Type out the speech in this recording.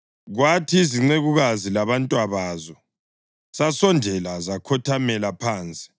Kwathi izincekukazi labantwabazo, zasondela zakhothamela phansi.